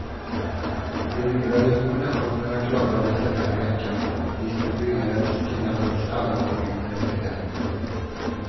De nya rekommendationerna klubbades den här veckan och distribueras till landets alla kommuner efter helgen.